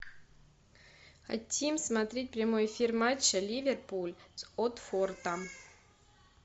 хотим смотреть прямой эфир матча ливерпуль с уотфордом